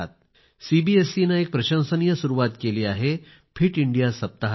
सीबीएससीने एक प्रशंसनीय सुरुवात केली आहे फिट इंडिया सप्ताहाची